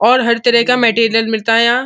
और हर तरह का मैंटेरियल मिलता है यहाँ।